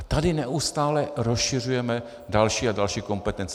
A tady neustále rozšiřujeme další a další kompetence.